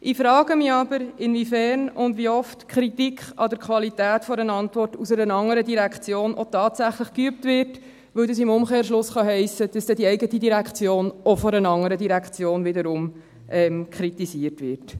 Ich frage mich aber, inwiefern und wie oft Kritik an der Qualität einer Antwort aus einer anderen Direktion auch tatsächlich geübt wird, weil das im Umkehrschluss heissen kann, dass dann die eigene Direktion auch von einer anderen Direktion wiederum kritisiert wird.